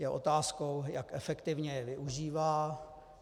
Je otázkou, jak efektivně je využívá.